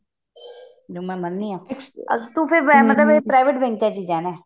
ਇਹ ਮੈਂ ਮੰਨਦੀ ਹਾਂ ਇਸਦਾ ਮਤਲਬ ਤੂੰ private bank ਚ ਜਾਣਾ